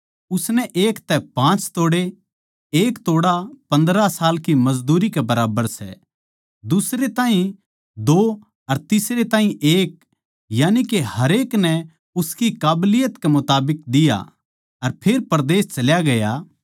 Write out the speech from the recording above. उसनै एक तै पाँच तोड़े 1 तोड़ा 15 साल की मजदूरी के बराबर सै दुसरे ताहीं दो अर तीसरे ताहीं एक यानिके हरेक नै उसकी काबिलियत कै मुताबिक दिया अर फेर परदेस चल्या गया